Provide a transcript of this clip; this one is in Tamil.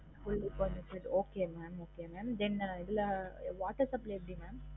fully furnished okay mam okay mam then இதுல water supply எப்டி mam